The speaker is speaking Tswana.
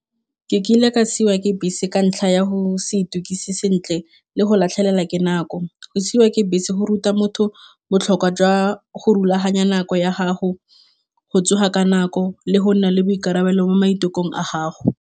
Ke kile ka siwa ke bese ka ntlha ya go se itukisa sentle le go latlhegelwa ke nako, go siwa ke bese go ruta motho botlhokwa jwa go rulaganya nako ya gago go tsoga ka nako le go nna le boikarabelo mo maitekong a gago.